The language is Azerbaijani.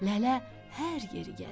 Lələ hər yeri gəzdi.